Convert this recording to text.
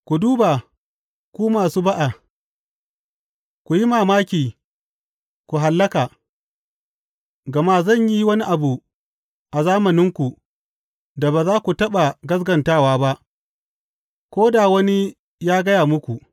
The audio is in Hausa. Ku duba, ku masu ba’a, ku yi mamaki, ku hallaka, gama zan yi wani abu a zamaninku da ba za ku taɓa gaskatawa ba ko da wani ya gaya muku.’